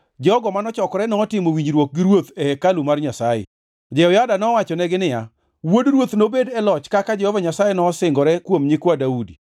jogo mano chokore notimo winjruok gi ruoth e hekalu mar Nyasaye. Jehoyada nowachonegi niya, “Wuod ruoth nobed e loch kaka Jehova Nyasaye nosingore kuom nyikwa Daudi.